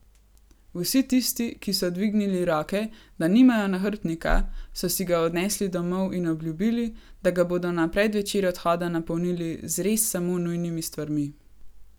Vsi tisti, ki so dvignili roke, da nimajo nahrbtnika, so si ga odnesli domov in obljubili, da ga bodo na predvečer odhoda napolnili z res samo nujnimi stvarmi.